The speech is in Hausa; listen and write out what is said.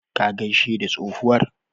Ka gaishe da tsohuwar.